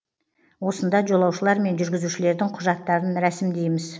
осында жолаушылар мен жүргізушілердің құжаттарын рәсімдейміз